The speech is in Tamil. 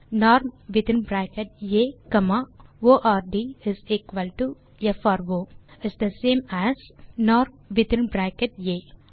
norm within bracket a comma ord within single quote pro is the same as norm within bracket ah